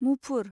मुफुर